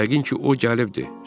Yəqin ki, o gəlibdir.